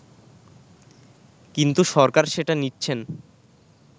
কিন্তু সরকার সেটা নিচ্ছেন